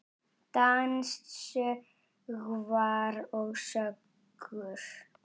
Dans, söngvar og sögur.